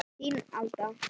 Þín Alda